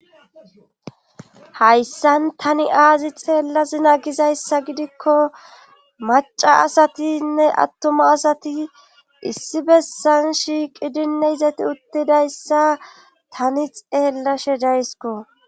hayssan tani aazi xeella zina gizayssa gidikko maca asatinne attoma asati issi bessan shiiqidinne izati uttidayssa tani xeellashe daysiko